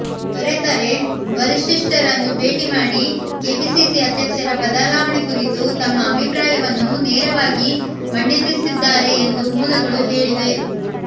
ದೊರೆತರೆ ವರಿಷ್ಠರನ್ನು ಭೇಟಿ ಮಾಡಿ ಕೆಪಿಸಿಸಿ ಅಧ್ಯಕ್ಷರ ಬದಲಾವಣೆ ಕುರಿತು ತಮ್ಮ ಅಭಿಪ್ರಾಯವನ್ನು ನೇರವಾಗಿ ಮಂಡಿಸಲಿದ್ದಾರೆ ಎಂದು ಮೂಲಗಳು ಹೇಳಿವೆ